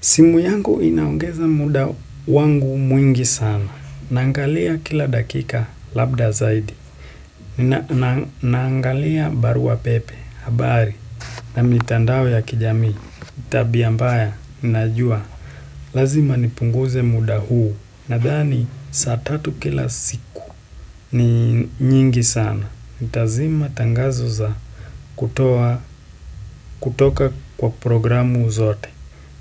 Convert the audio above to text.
Simu yangu inaongeza muda wangu mwingi sana. Naangalia kila dakika labda zaidi. Nangalia barua pepe, habari, na mitandao ya kijamii. Ni tabia mbaya, najua. Lazima nipunguze muda huu. Nadhani, saa tatu kila siku ni nyingi sana. Nitazima tangazo za kutoa, kutoka kwa programu zote.